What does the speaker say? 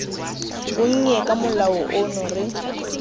bonnye ka molao ono re